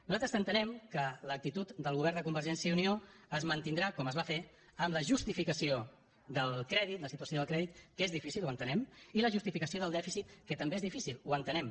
nosaltres entenem que l’actitud del govern de convergència i unió es mantindrà com es va fer en la justificació del crèdit la situació del crèdit que és difícil ho entenem i la justificació del dèficit que també és difícil ho entenem